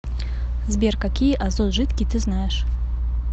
сбер какие азот жидкий ты знаешь